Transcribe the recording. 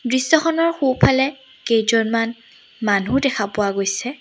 দৃশ্যখনৰ সোঁফালে কেইজনমান মানুহ দেখা পোৱা গৈছে।